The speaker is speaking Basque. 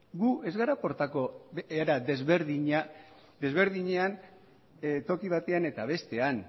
gu ez gara portatuko era desberdinean toki batean eta bestean